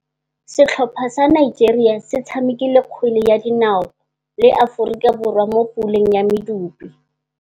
Setlhopha sa Nigeria se tshamekile kgwele ya dinaô le Aforika Borwa mo puleng ya medupe.